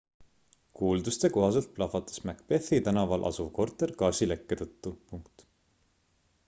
kuulduste kohaselt plahvatas macbethi tänaval asuv korter gaasilekke tõttu